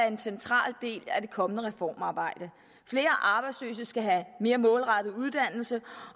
en central del af det kommende reformarbejde flere arbejdsløse skal have mere målrettet uddannelse